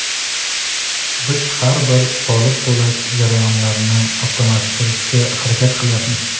Biz har bir soliq to‘lash jarayonlarini avtomatlashtirishga harakat qilyapmiz.